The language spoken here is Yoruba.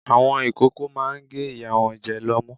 Àwọn ìkókó máa ń gé ìyá wọn jẹ lọ́mú.